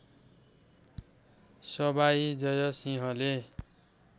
सवाई जय सिंहले